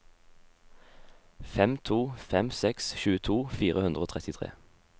fem to fem seks tjueto fire hundre og trettitre